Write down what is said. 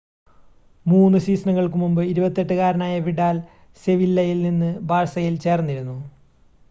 3 സീസണുകൾക്ക് മുമ്പ് 28 കാരനായ വിഡാൽ സെവില്ലയിൽ നിന്ന് ബാഴ്സയിൽ ചേർന്നിരുന്നു